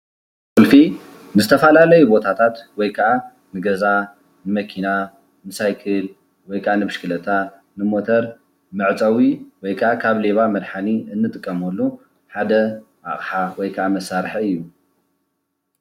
እዚ ንዝተፈላለዩ ቦታታት ማለት ንገዛ፣ ንመኪና ፣ንሳይክል ወይከዓ ንብሽክሌታ ፣ንሞተር መዕፀዊ ወይ ከዓ ካብ ሌባ መድሓኒ እንጥቀመሉ ሓደ ኣቕሓ ወይ ከዓ መሳርሒ እዩ፡፡